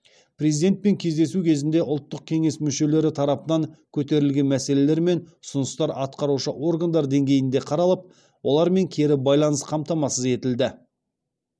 президентпен кездесу кезінде ұлттық кеңес мүшелері тарапынан көтерілген мәселелер мен ұсыныстар атқарушы органдар деңгейінде қаралып олармен кері байланс қамтамасыз етілді